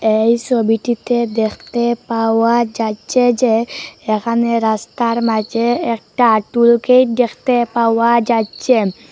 এই সবিটিতে দেখতে পাওয়া যাচ্ছে যে এখানে রাস্তার মাঝে একটা আটুল গেট দেখতে পাওয়া যাচ্ছে।